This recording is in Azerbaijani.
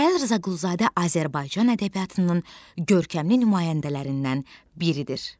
Mikayıl Rzaquluzadə Azərbaycan ədəbiyyatının görkəmli nümayəndələrindən biridir.